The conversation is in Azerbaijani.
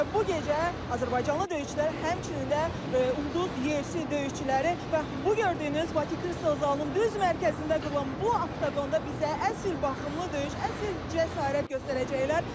Məhz bu gecə azərbaycanlı döyüşçülər, həmçinin də ulduz UFC döyüşçüləri bax bu gördüyünüz Bakı Kristal zalının düz mərkəzində qurulan bu oqonda bizə əsl baxımlı döyüş, əsl cəsarət göstərəcəklər.